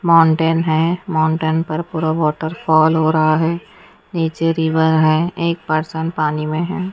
Mountain है mountain पर पूरा वॉटरफॉल हो रहा है नीचे रिवर है एक पर्सन पानी में है।